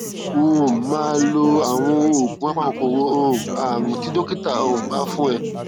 um máa lo àwọn oògùn apakòkòrò um ààrùn tí dókítà um bá fún ẹ